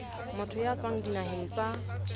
motho ya tswang dinaheng tsa